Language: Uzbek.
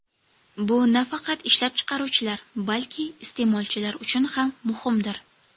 Bu nafaqat ishlab chiqaruvchilar, balki iste’molchilar uchun ham muhimdir.